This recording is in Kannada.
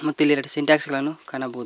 ಮತ್ತು ಇಲ್ಲಿ ಎರಡು ಸಿಂಟೆಕ್ಸ್ಗಳನ್ನು ಕಾಣಬಹುದು.